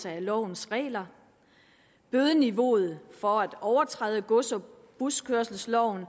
af lovens regler bødeniveauet for at overtræde gods og buskørselsloven